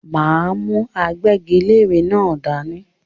M á mú agbẹ́giléèrè náà dání.